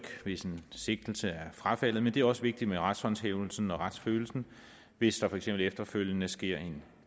hvis en sigtelse er frafaldet men det er også vigtigt med retshåndhævelsen og retsfølelsen hvis der for eksempel efterfølgende sker en